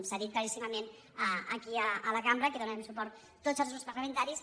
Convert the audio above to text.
s’ha dit claríssimament aquí a la cambra que hi donarem suport tots els grups parlamentaris